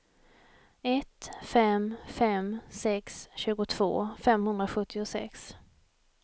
ett fem fem sex tjugotvå femhundrasjuttiosex